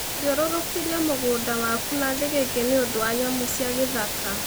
Thirũrũkĩria mũgũnda waku na thĩgĩngĩ nĩ ũndũ wa nyamũ cia gĩthaka.